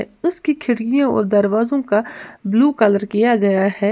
उसकी खिड़कियों और दरवाजों का ब्लू कलर किया गया है।